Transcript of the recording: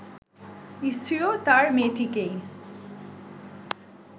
স্ত্রীও তার মেয়েটিকেই